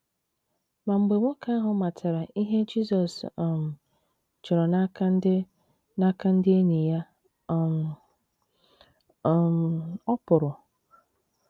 Ma mgbe nwoke ahụ matara ihe Jizọs um chọrọ n’aka ndị n’aka ndị enyi ya um, um “ ọ pụrụ. ”